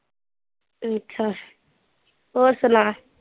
ਅੱਛਾ ਹੋਰ ਸੁਣਾ